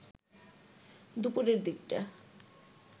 দুপুরের দিকটা